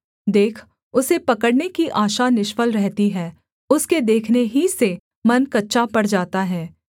देख उसे पकड़ने की आशा निष्फल रहती है उसके देखने ही से मन कच्चा पड़ जाता है